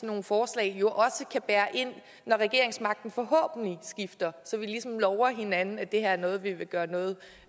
nogle forslag jo også kan bære ind når regeringsmagten forhåbentlig skifter så vi ligesom lover hinanden at det her er noget vi vil gøre noget